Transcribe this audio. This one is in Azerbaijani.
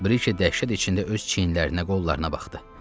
Briki dəhşət içində öz çiynlərinə, qollarına baxdı.